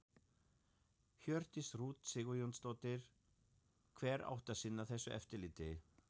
Hjördís Rut Sigurjónsdóttir: Hver átti að sinna þessu eftirliti?